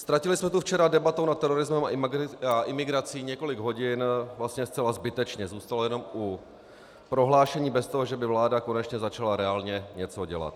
Ztratili jsme tu včera debatou nad terorismem a imigrací několik hodin vlastně zcela zbytečně, zůstalo jenom u prohlášení bez toho, že by vláda konečně začala reálně něco dělat.